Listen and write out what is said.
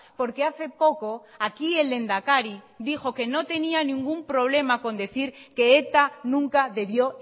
porque hace poco aquí el lehendakari dijo que no tenía ningún problema con decir que eta nunca debió